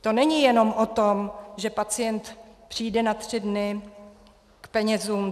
To není jenom o tom, že pacient přijde na tři dny k penězům.